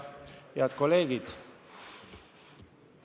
Head kolleegid!